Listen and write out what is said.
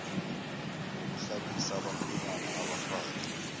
ngokuhlabisa abakhwenyana abafake